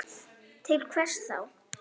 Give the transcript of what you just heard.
Til hvers þá?